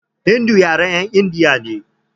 Hindu yaren 'yan indiya ne.